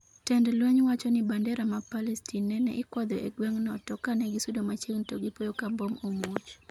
tend lweny wacho ni bandera ma Palestin nene ikwadho e gweng' no to kanegisudo machiegni to gipoyo ka mbom omuoch